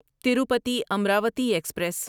Tirupati Amaravati express